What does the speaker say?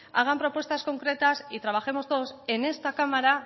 hagan propuestas concretas y trabajemos todos en esta cámara